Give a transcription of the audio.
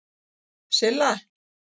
Silla